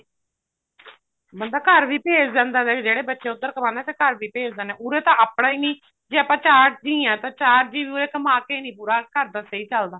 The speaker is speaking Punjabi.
ਨਹੀਂ ਤਾਂ ਘਰ ਵੀ ਭੇਜ ਦਿੰਦਾ ਵੀ ਜਿਹੜੇ ਬੱਚੇ ਉੱਧਰ ਕਮਾਉਣੇ ਹਾਂ ਵੀ ਘਰ ਵੀ ਭੇਜ ਦਿੰਦੇ ਆ ਉਰੇ ਤਾਂ ਆਪਣਾ ਹੀ ਨੀ ਜੇ ਆਪਾਂ ਚਾਰ ਜੀ ਆਂ ਤਾਂ ਚਾਰ ਜੀ ਕਮਾ ਕੇ ਨੀ ਉਰੇ ਪੂਰਾ ਘਰ ਦਾ ਸਹੀ ਚੱਲਦਾ